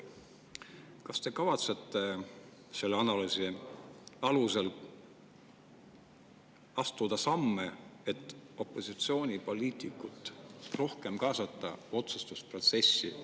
Kas te kavatsete selle analüüsi alusel astuda samme, et opositsioonipoliitikuid otsustusprotsessi rohkem kaasata?